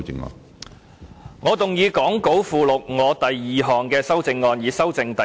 主席，我動議講稿附錄我的第二項修正案，以修正第2條。